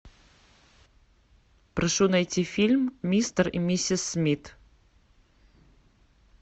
прошу найти фильм мистер и миссис смит